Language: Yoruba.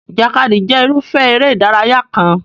Ìjàkadì jẹ́ irúfẹ́ eré ìdárayá kan.